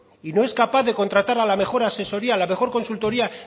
y no es capaz de contratar a la mejor asesoría a la mejor consultoría